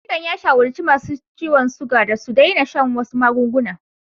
Likitan ya shawarci masu ciwon suga da su daina shan wasu magunguna.